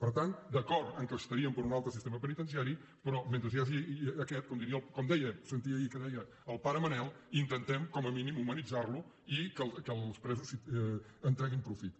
per tant d’acord que estaríem per un altre sistema penitenciari però mentre hi hagi aquest com sentia ahir que deia el pare manel intentem com a mínim humanitzar lo i que els presos en treguin profit